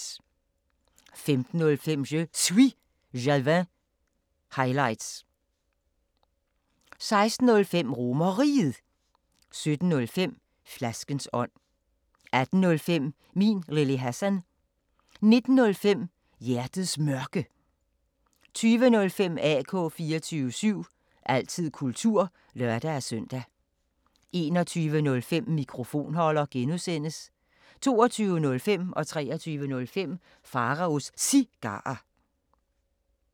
15:05: Je Suis Jalving – highlights 16:05: RomerRiget 17:05: Flaskens ånd 18:05: Min Lille Hassan 19:05: Hjertets Mørke 20:05: AK 24syv – altid kultur (lør-søn) 21:05: Mikrofonholder (G) 22:05: Pharaos Cigarer 23:05: Pharaos Cigarer